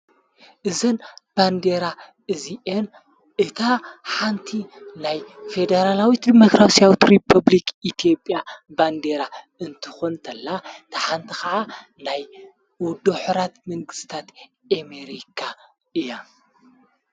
እዘን ባንዴራ እዚኤን እታ ሓንቲ ናይ ፌዴራላዊት ዲሞክራስያዊት ሪፐብልክ ኢትዮጵያ ባንዴራ እንትኾን ተላ ታሓንቲ ኸዓ ናይ ውድብ ሕቡራት መንግሥታት አሜሪካ እያ፡፡